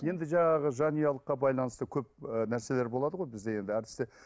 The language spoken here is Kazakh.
енді жаңағы жанұялыққа байланысты көп ыыы нәрселер болады ғой бізде енді әртісте